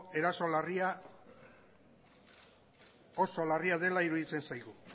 erasoa oso larria dela iruditzen zaigu